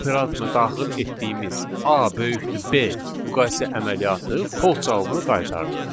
operatoruna daxil etdiyimiz A > B müqayisə əməliyyatı false cavabını qaytardı.